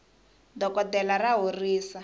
dokoltela ra horisa